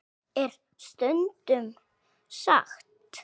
. er stundum sagt.